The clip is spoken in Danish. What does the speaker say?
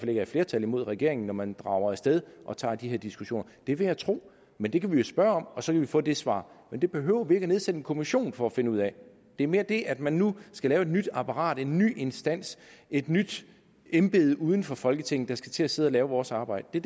er et flertal imod regeringen når man drager af sted og tager de her diskussioner det vil jeg tro men det kan vi jo spørge om og så kan vi få det svar men det behøver vi nedsætte en kommission for at finde ud af det er mere det at man nu skal lave et nyt apparat en ny instans et nyt embede uden for folketingssalen der skal til at sidde og lave vores arbejde